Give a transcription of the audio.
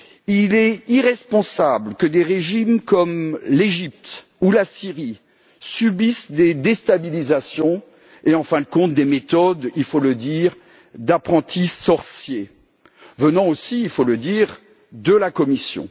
Il est irresponsable que des régimes comme l'Égypte ou la Syrie subissent des déstabilisations et, en fin de compte, des méthodes il faut le dire d'apprentis sorciers venant aussi précisons le de la Commission.